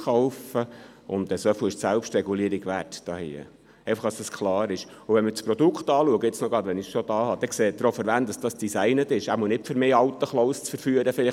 Das Zielpublikum ist auch klar, wenn man Gratiszeitungen betrachtet, worin täglich solche Inserate enthalten sind.